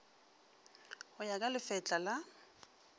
go ya ka lefetla la